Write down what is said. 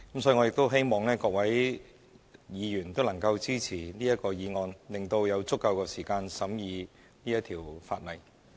所以，我亦希望各位議員能支持這項議案，以便有足夠時間審議這項法例。